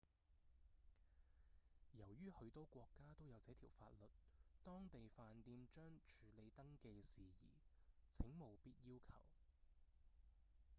由於許多國家都有這條法律當地飯店將處理登記事宜請務必要求